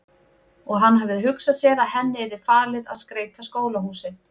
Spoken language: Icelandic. Og hann hafði hugsað sér að henni yrði falið að skreyta skólahúsið.